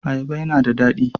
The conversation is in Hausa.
Ayaba yana da daɗi.